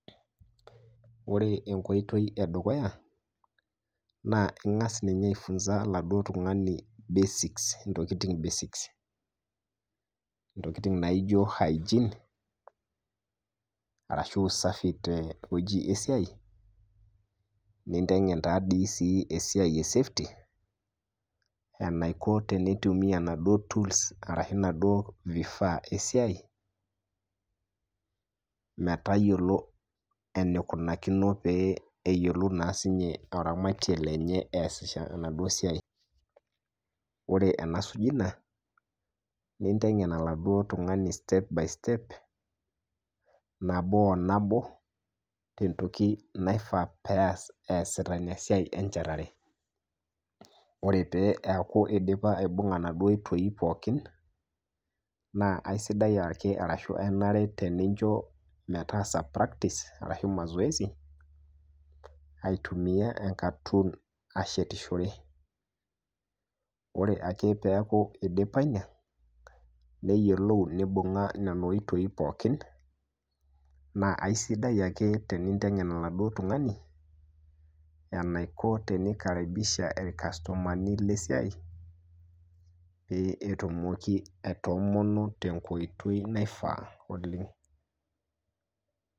Ore nye enkoitoi edukuya ningasa nye aifunza oltungani basics ntokitin basics ntokitin naijo hygene arashu usafi tewoi esiai ,nintengen si di esiai e safety enaiko peitumia naduo tools arashu ntokitin esiai peyiolou enikunari eramati enye tesiai ,ore enasujie ina intengen oladuo tungani step by step nabo o nabo tentoko naifaa peas easita esiai .Ore peaku indipa aibunga naduo pookin na kenare nincho metaasa practice aitumia enkatun ashetishore neyiolou neibunga nena oitoi pookin naisilig tenkoitoi naifaa oleng.